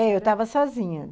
É, eu estava sozinha.